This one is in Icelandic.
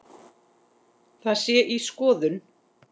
Það sé í skoðun.